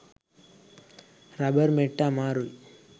rubber මෙට්ට අමාරුයි